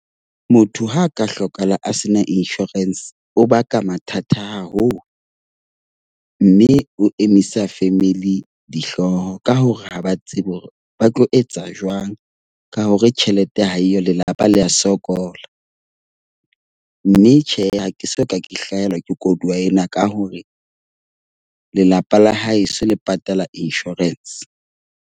Motho ha a ka hlokahala a sena insurance o baka mathata haholo. Mme o emisa family dihlooho ka hore ha ba tsebe hore ba tlo etsa jwang ka hore tjhelete ha eyo, lelapa le a sokola. Mme tjhe, ha ke soka ke hlahelwa ke koduwa ena ka hore lelapa la hae so le patala insurance.